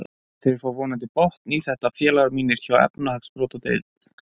Þeir fá vonandi botn í þetta félagar mínir hjá efnahagsbrotadeild.